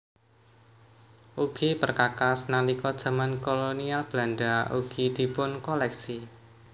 Ugi perkakas nalika jaman Kolonial Belanda ugi dipunkoléksi